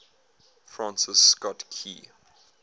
francis scott key